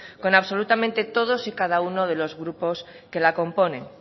con absolutamente todos y cada uno de los grupos que la componen